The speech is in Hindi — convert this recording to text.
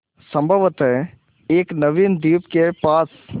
संभवत एक नवीन द्वीप के पास